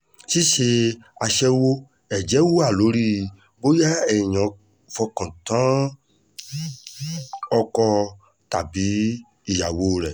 ṣíṣe àyẹ̀wò ẹ̀jẹ̀ wa lórí bóyá èèyàn fọkàn tán ọkọ tàbí ìyàwó rẹ̀